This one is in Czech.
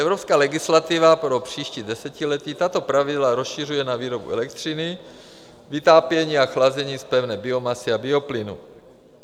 Evropská legislativa pro příští desetiletí tato pravidla rozšiřuje na výrobu elektřiny, vytápění a chlazení z pevné biomasy a bioplynu.